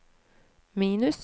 minus